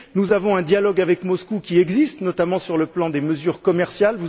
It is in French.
Nous avons un dialogue avec Moscou qui existe, notamment sur le plan des mesures commerciales.